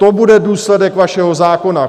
To bude důsledek vašeho zákona.